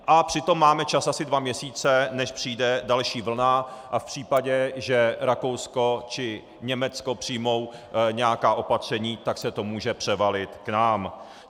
A přitom máme čas asi dva měsíce, než přijde další vlna, a v případě, že Rakousko či Německo přijmou nějaká opatření, tak se to může převalit k nám.